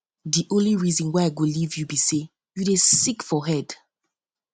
the only reason um wey i go leave you be say you dey sick for head